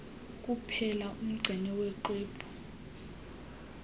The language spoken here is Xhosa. kuphela umgcini maxwebhu